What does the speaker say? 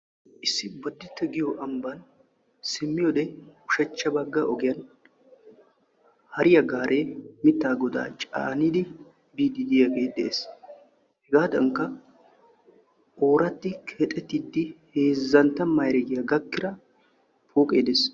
Issi boditte giyoo ambbaan simmiyoode ushshachcha bagga ogiyaan hariyaa gaaree mittaa godaa caanidi biiddi diyaagee beettees. hegaadankka oraatti keexettidi heezzantta mayiregiyaa pooqe dees.